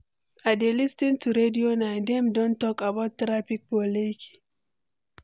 I dey lis ten to radio now, dem don talk about traffic for Lekki.